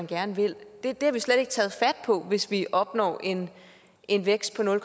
gerne vil det har vi slet ikke taget fat på hvis vi opnår en en vækst på nul